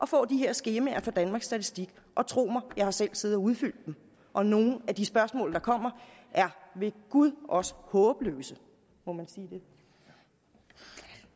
få de her skemaer fra danmarks statistik og tro mig jeg har selv siddet og udfyldt dem og nogle af de spørgsmål der kommer er ved gud også håbløse må man sige